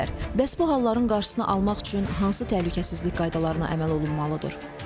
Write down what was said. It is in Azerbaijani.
Bəs bu halların qarşısını almaq üçün hansı təhlükəsizlik qaydalarına əməl olunmalıdır?